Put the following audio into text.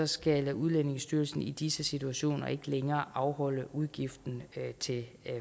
skal udlændingestyrelsen i disse situationer ikke længere afholde udgiften til